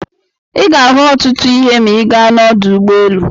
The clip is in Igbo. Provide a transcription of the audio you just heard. Ị ga-ahụ ọtụtụ ihe ma ị gaa n'ụlọ ụgbọelu.